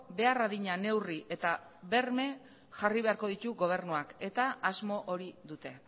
behar adina neurri eta berme jarri beharko ditu gobernuak eta asmo hori dute